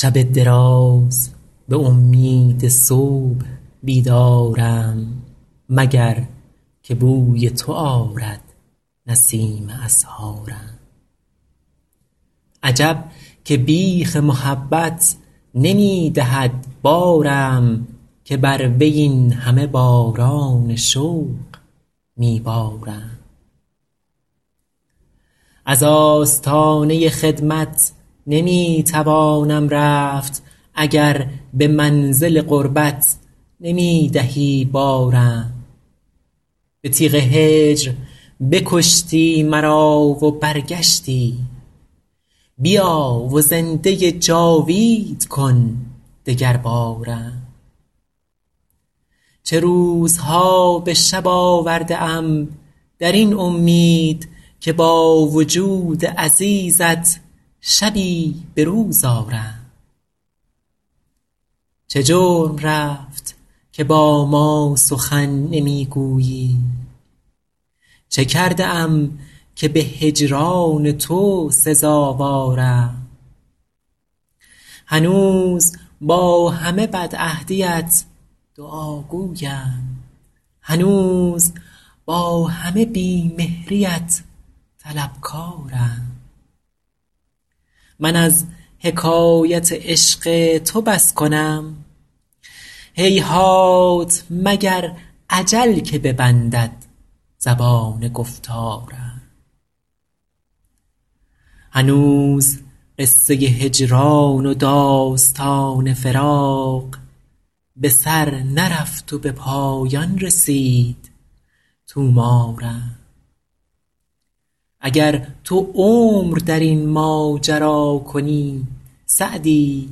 شب دراز به امید صبح بیدارم مگر که بوی تو آرد نسیم اسحارم عجب که بیخ محبت نمی دهد بارم که بر وی این همه باران شوق می بارم از آستانه خدمت نمی توانم رفت اگر به منزل قربت نمی دهی بارم به تیغ هجر بکشتی مرا و برگشتی بیا و زنده جاوید کن دگربارم چه روزها به شب آورده ام در این امید که با وجود عزیزت شبی به روز آرم چه جرم رفت که با ما سخن نمی گویی چه کرده ام که به هجران تو سزاوارم هنوز با همه بدعهدیت دعاگویم هنوز با همه بی مهریت طلبکارم من از حکایت عشق تو بس کنم هیهات مگر اجل که ببندد زبان گفتارم هنوز قصه هجران و داستان فراق به سر نرفت و به پایان رسید طومارم اگر تو عمر در این ماجرا کنی سعدی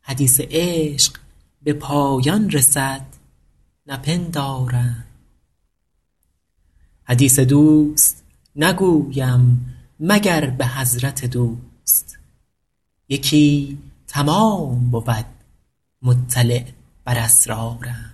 حدیث عشق به پایان رسد نپندارم حدیث دوست نگویم مگر به حضرت دوست یکی تمام بود مطلع بر اسرارم